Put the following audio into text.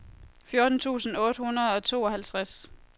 fjorten tusind otte hundrede og tooghalvtreds